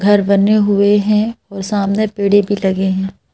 घर बने हुए हैं और सामने पेड़े भी लगे हैं।